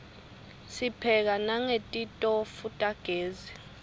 sipheka nangetitofu tagezi